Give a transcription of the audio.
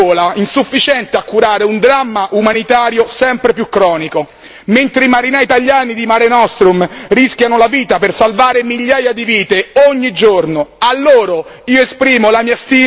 Sembra più il nome di una pillola per il mal di gola, insufficiente a curare un dramma umanitario sempre più cronico, mentre i marinai italiani di Mare Nostrum rischiano la vita per salvare migliaia di vite ogni giorno.